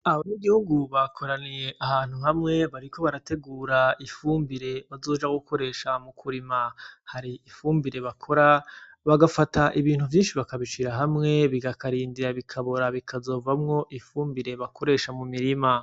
Abanyagihugu bakoraniye ahantu hamwe bariko barategura ifumbire bazokoresha mukurima hari ifumbire bakora bagafata ibintu vyinshi bakabishira hamwe bakarindira bikabora bizokavamwo ifumbire bakoresha mumirima.